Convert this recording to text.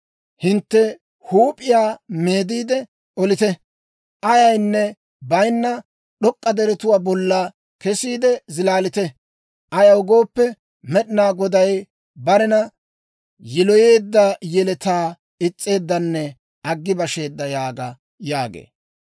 Hintte huup'iyaa meediide olite. Ayaynne bayinna d'ok'k'a deretuwaa bolla kesiide zilaalite. Ayaw gooppe, Med'inaa Goday barena yiloyeedda yeletaa is's'eeddanne aggi basheedda yaaga» yaagee.